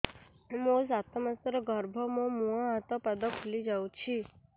ମୋ ସାତ ମାସର ଗର୍ଭ ମୋ ମୁହଁ ହାତ ପାଦ ଫୁଲି ଯାଉଛି